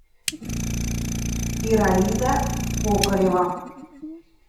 ираида кокарева